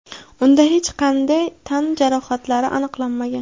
unda hech qanday tan jarohatlari aniqlanmagan.